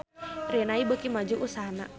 Rinnai beuki maju usahana